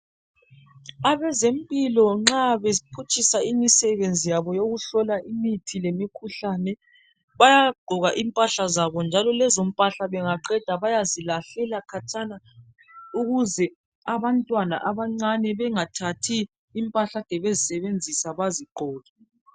Abezempilo nxa bephutshisa imisebenzi yabo yokuhlola imithi lemikhuhlane bayagqoka impahla zabo njalo lezo mpahla bengaqeda bayazilahlela khatshana ukuze abantwana abancane bengathathi impahla ekade bezisebenzisa bengazigqoke